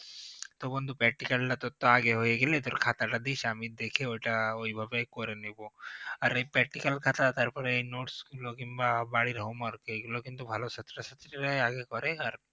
তো বন্ধু practical তোর তো আগে হয়ে গেলে খাতাটা দিস আমি দেখে ঐটা ঐভাবে করে নেব আর ওই practical খাতা তারপরে notes গুলো কিংবা বাড়ির homework এগুলো কিন্তু ভালো ছাত্রছাত্রীরাই আগে করে আর